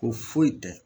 Ko foyi tɛ